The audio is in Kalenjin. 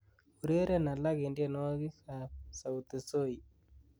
ureren alak en tyenwogik ab sauti soi